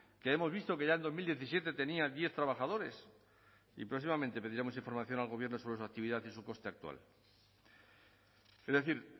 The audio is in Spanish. que hemos visto que ya en dos mil diecisiete tenía diez trabajadores y próximamente pediremos información al gobierno sobre su actividad y su coste actual es decir